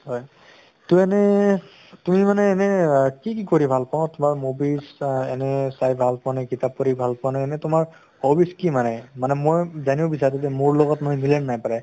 হয় তো এনে তুমি মানে এনে কি কি কৰি ভাল পোৱা তোমাৰ movies বা এনে চাই ভাল পোৱা নে কিতাপ পঢ়ি ভাল পোৱা নে এনে তোমাৰ hobbies কি মানে? মানে মই জানিব বিচাৰোঁ যে মোৰ লগত তোমাৰ মিলে নে নাই প্ৰায়